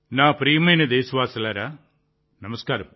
నా ప్రియమైన దేశవాసులారా నమస్కారం